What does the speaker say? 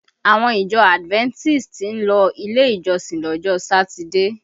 Àwọn ìjọ Adventist ń lọ ilé ìjọsìn lọ́jọ́ Satide